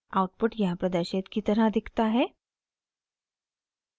output यहाँ प्रदर्शित की तरह दिखता है